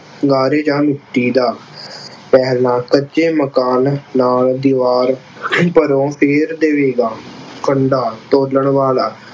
ਗਾਰੇ ਜਾਂ ਮਿੱਟੀ ਦਾ ਕੱਚੇ ਮਕਾਨ ਨਾਲ ਦੀਵਾਰ ਘਰੋਂ ਦੇਵੇਗਾ। ਕੰਡਾ ਤੋਲਣ ਵਾਲਾ